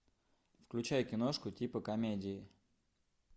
включай киношку типа комедии